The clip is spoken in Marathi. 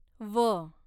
व